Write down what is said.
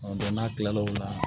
n'a kila la o la